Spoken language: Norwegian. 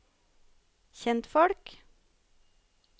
kjentfolk